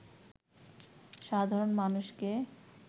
সাধারন মানুষকে